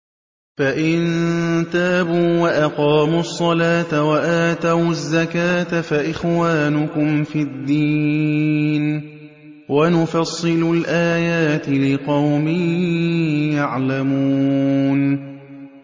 فَإِن تَابُوا وَأَقَامُوا الصَّلَاةَ وَآتَوُا الزَّكَاةَ فَإِخْوَانُكُمْ فِي الدِّينِ ۗ وَنُفَصِّلُ الْآيَاتِ لِقَوْمٍ يَعْلَمُونَ